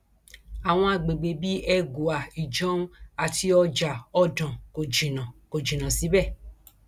àwọn àgbègbè bíi ẹgùa ìjọun àti ọjà ọdàn kò jìnnà kò jìnnà síbẹ